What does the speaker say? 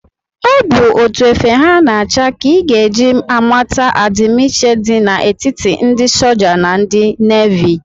Ọ bụ etu efe ha na-acha ka ị ga eji amata adimiiche dị na etiti ndị soja na ndị navi